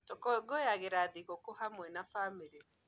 Tũkũngũyagĩra thigũkũ hamwe na bamĩrĩ